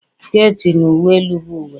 sket na uwe elu bụ uwe